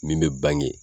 Min bɛ bange